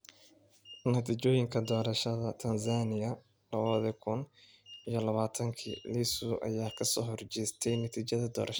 Natiijooyinka Doorashada Tansaaniya lawa kun iyo lawatanki : Lissu ayaa kasoo horjeestay natiijada doorashada